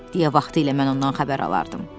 deyə vaxtilə mən ondan xəbər alardım.